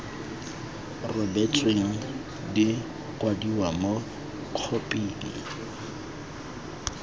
rebotsweng di kwadiwa mo khophing